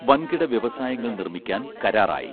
വൻകിട വ്യവസായങ്ങൾ നിർമ്മിക്കാൻ കരാറായി